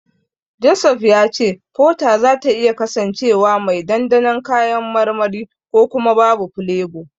Joseph ya ce Fota zata iya kasancewa mai dandanon kayan marmari ko kuma babu filebo.